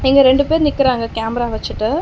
இங்க ரெண்டு பேர் நிக்கிறாங்க கேமரா வச்சுட்டு.